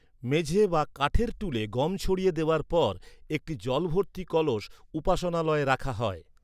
মেঝে বা কাঠের টুলে গম ছড়িয়ে দেওয়ার পর, একটি জল ভর্তি কলস উপাসনালয়ে রাখা হয়।